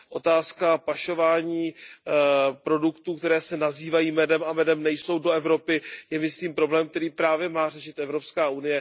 Otázka pašování produktů, které se nazývají medem a medem nejsou, do Evropy je myslím problém, který právě má řešit EU.